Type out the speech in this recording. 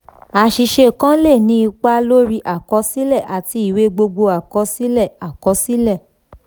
àṣìṣe kan le ni ipa lórí àkọsílẹ àti ìwé gbogbo àkọsílẹ. àkọsílẹ.